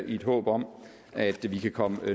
et håb om at vi kan komme